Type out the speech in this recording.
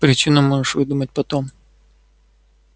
причину можешь выдумать потом